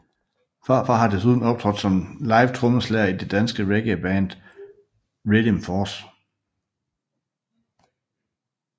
Pharfar har desuden optrådt som livetrommeslager i det danske reggae backing band Riddim Force